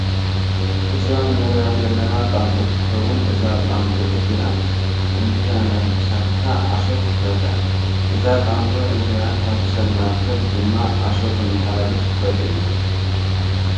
እዛ እንሪኣ ዘለና ጣንጡ ክትከውን እዛ ጣንጡ እዚኣ እንተነከሳትካ ዓሶ ትሕዘካ። እዛ ጣንጡ እዚኣ ካብ ሳብ ናብ ሰብ ድማ ዓሶ ተማሓላልፍ ትክእል እያ።